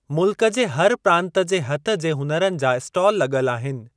मुल्क जे हर प्रांत जे हथ जे हुनरनि जा इस्टाल लग॒ल आहिनि।